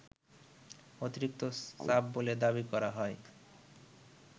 অতিরিক্ত চাপ বলে দাবি করা হয়